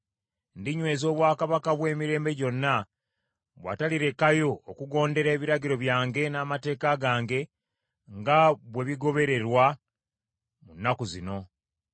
Ndinyweza obwakabaka bwe emirembe gyonna, bwatalirekayo okugondera ebiragiro byange n’amateeka gange nga bwe bigobelerwa mu nnaku zino.’